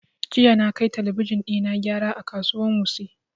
Jiya na kai talabijin ɗina gyara a kasuwan wuse